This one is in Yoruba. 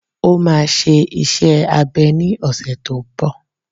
Ó máa ṣe iṣẹ́ abẹ ní ọ̀sẹ̀ tó n bọ̀